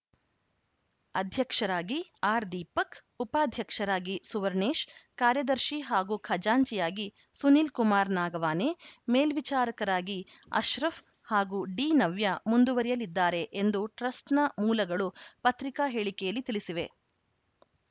ಅಧ್ಯಕ್ಷರಾಗಿ ಆರ್‌ದೀಪಕ್‌ ಉಪಾಧ್ಯಕ್ಷರಾಗಿ ಸುವರ್ಣೇಶ್‌ ಕಾರ್ಯದರ್ಶಿ ಹಾಗೂ ಖಜಾಂಚಿಯಾಗಿ ಸುನೀಲ್‌ ಕುಮಾರ್‌ ನಾಗವಾನೆ ಮೇಲ್ವಿಚಾರಕರಾಗಿ ಅಶ್ರಫ್‌ ಹಾಗೂ ಡಿನವ್ಯ ಮುಂದುವರೆಯಲಿದ್ದಾರೆ ಎಂದು ಟ್ರಸ್ಟ್‌ನ ಮೂಲಗಳು ಪತ್ರಿಕಾ ಹೇಳಿಕೆಯಲ್ಲಿ ತಿಳಿಸಿವೆ